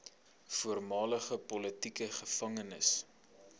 voormalige politieke gevangenes